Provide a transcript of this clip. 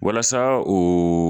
Walasa o